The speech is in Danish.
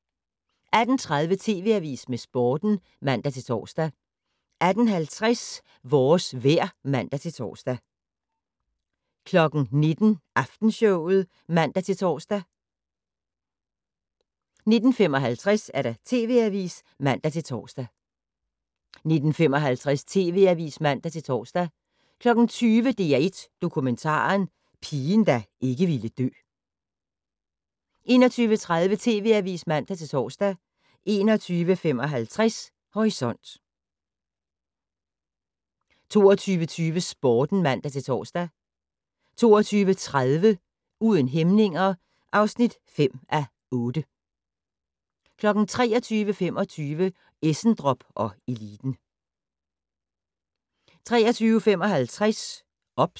18:30: TV Avisen med Sporten (man-tor) 18:50: Vores vejr (man-tor) 19:00: Aftenshowet (man-tor) 19:55: TV Avisen (man-tor) 20:00: DR1 Dokumentaren - Pigen der ikke ville dø 21:30: TV Avisen (man-tor) 21:55: Horisont 22:20: Sporten (man-tor) 22:30: Uden hæmninger (5:8) 23:25: Essendrop & eliten